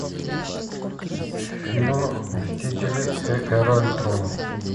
фильм мстители эра альтрона